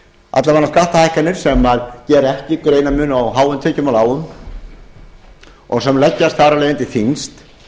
alla vega skattahækkanir sem gera ekki greinarmun á háum tekjum og lágum og sem leggjast þar af leiðandi þyngst